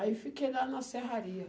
Aí fiquei lá na serraria.